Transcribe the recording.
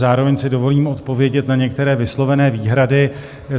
Zároveň si dovolím odpovědět na některé vyslovené výhrady.